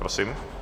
Prosím.